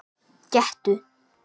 Gettu